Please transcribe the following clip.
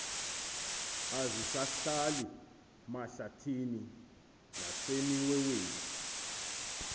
azisahlali mahlathini nasemiweweni